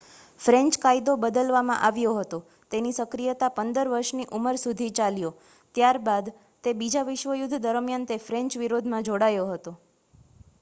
French કાયદો બદલવામાં આવ્યો હતો તેની સક્રિયતા 15 વર્ષની ઉંમર સુધી ચાલ્યો ત્યારબાદ તે બીજા વિશ્વયુદ્ધ દરમિયાન તે ફ્રેન્ચ વિરોધમાં જોડાયો હતો